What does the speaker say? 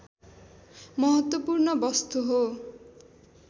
महत्त्वपूर्ण वस्तु हो